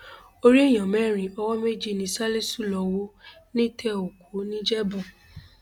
orí èèyàn mẹrin owó méjì ni ṣálíṣù lọọ hù nítẹòkú nìjẹbù